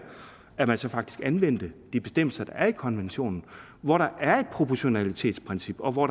at man så faktisk anvendte de bestemmelser der er i konventionen hvor der er et proportionalitetsprincip og hvor